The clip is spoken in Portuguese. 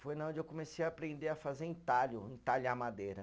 Foi na onde eu comecei a aprender a fazer entalho, entalhar madeira.